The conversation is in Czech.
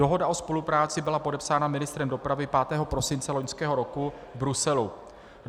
Dohoda o spolupráci byla podepsána ministrem dopravy 5. prosince loňského roku v Bruselu.